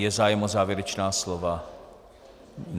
Je zájem o závěrečná slova?